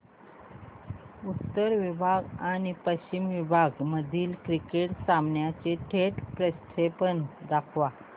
उत्तर विभाग आणि पश्चिम विभाग मधील क्रिकेट सामन्याचे थेट प्रक्षेपण दाखवा